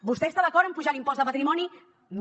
vostè està d’acord en apujar l’impost de patrimoni no